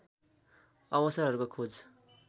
अवसरहरूको खोज